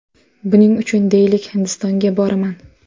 Buning uchun, deylik, Hindistonga boraman.